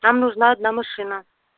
нам нужна одна машина